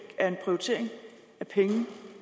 er en prioritering af penge